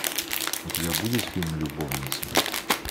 у тебя будет фильм любовницы